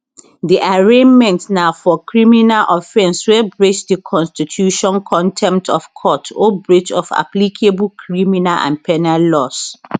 di arraignment na for criminal offence wey breach di constitutioncontempt of court or breach of applicable criminal and penal laws